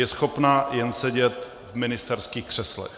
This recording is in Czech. Je schopna jen sedět v ministerských křeslech.